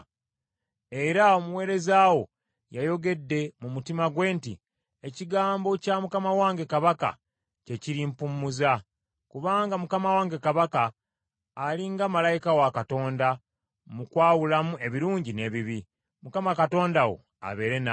“Era omuweereza wo yayogedde mu mutima gwe nti, ‘Ekigambo kya mukama wange kabaka kye kirimpummuza, kubanga mukama wange kabaka ali nga malayika wa Katonda mu kwawulamu ebirungi n’ebibi. Mukama Katonda wo abeere naawe.’ ”